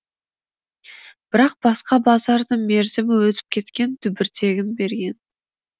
бірақ басқа базардың мерзімі өтіп кеткен түбіртегін берген